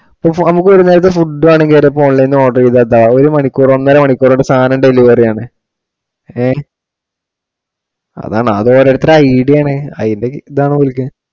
ഇപ്പൊ phone ഇൽ കൂടെ ഒരു നേരത്തെ food വേണോങ്കിൽ order ചെയ്താ എന്താ ഒരു മണിക്കൂറ് ഒന്നര മണിക്കൂറ് കൊണ്ട് സാധനം delivery ആണ്. ഹേ അതാണ് അത് ഓരോത്തരുടെ idea ആണ്. ഇതാണ് വിളിക്കുക.